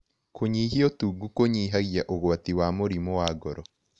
Kũnyĩhĩa ũtũngũ kũnyĩhagĩa ũgwatĩ wa mũrĩmũ wa ngoro